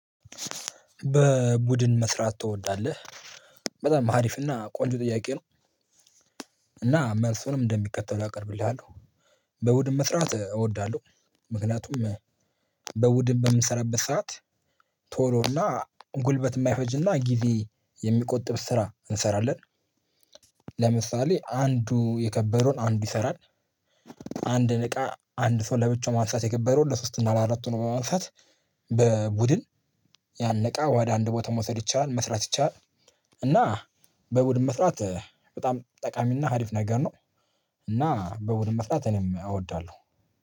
በቡድን ትወዳለህ? በጣም አሪፍ ና ቆንጆ ጥያቄ ነው። እና መልሱንም እንደሚከተለው አቀርብልሃለሁ። በቡድን መስራት እወዳለሁ። ምክንያቱም በቡድን በምሰራበት ሰዓት ቶሎ እና ጉልበት የማይፈጅና ጊዜ የሚቆጥብ ስራ እንሰራለን። ለምሳሌ አንዱ የከበደውን አንዱ ይሰራል። አንድን እቃ አንድ ሰው ለብቻው ማንሳት የከበደውን ሶስት እና ለአራት ሆኖ በማንሳት በቡድን- ያንን እቃ ወደ አንድ ቦታ መውሰድ ይቻላል። መስራት ይቻላል። እና በቡድን መስራት በጣም ጠቃሚና ሀሪፍ ነገር ነው። እና በቡድን መስራት እኔም እወዳለሁ።